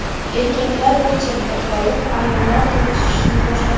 Erkaklar bir chetda qolib, ayollar tortishishni boshladi.